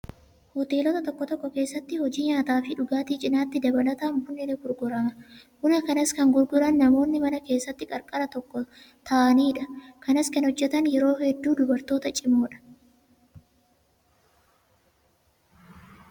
Hoteelota tokko tokko keessatti hojii nyaataa fi dhugaatii cinaatti dabalataan bunni ni gurgurama. Buna kanas kan gurguran namoonni mana keessa qarqara tokko taa'uunidha. Kanas kan hojjatan yeroo hedduu dubartoota cimoodha.